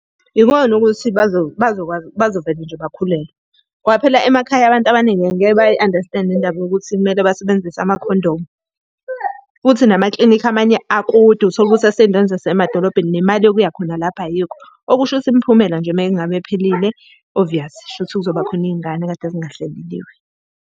Ikona ukuthi bazokwazi bazovele nje bakhulelwe. Ngoba phela emakhaya abantu abaningi angeke bayi-andastende le ndaba yokuthi kumele basebenzise amakhondomu. Futhi namaklinikhi amanye akude uthole ukuthi asey'ndaweni zasemadolobheni, nemali yokuya khona lapho ayikho. Okusho ukuthi imiphumela nje uma ngabe ephelile, oviyasi, kusho ukuthi kuzoba khona iy'ngane ekade zingahleleliwe.